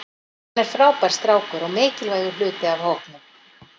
Hann er frábær strákur og mikilvægur hluti af hópnum.